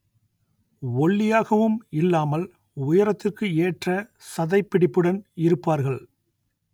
ஒல்லியாகவும் இல்லாமல் உயரத்திற்கு ஏற்ற சதைப்பிடிப்புடன் இருப்பார்கள்